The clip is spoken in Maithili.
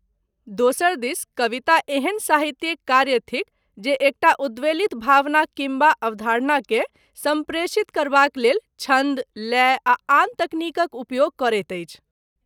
दोसर दिस कविता एहन साहित्यिक कार्य थिक जे एकटा उद्वेलित भावना किम्बा अवधारणाकेँ सम्प्रेषित करबाक लेल छन्द, लय आ आन तकनीकक उपयोग करैत अछि।